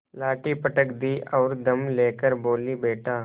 लाठी पटक दी और दम ले कर बोलीबेटा